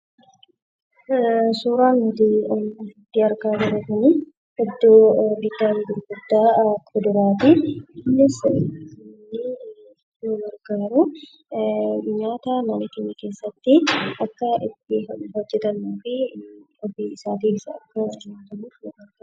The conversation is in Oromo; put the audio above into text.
Suuraan asirratti arginu kun iddoo bittaa fi gurgurtaa kuduraati. Innis mana keenya keessatti nyaata ittiin hojjechuuf kan ooludha.